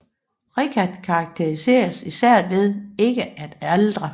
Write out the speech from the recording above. Richard karakteriseres især ved ikke at aldre